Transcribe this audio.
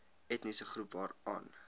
etniese groep waaraan